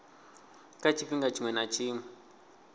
kha tshifhinga tshiṅwe na tshiṅwe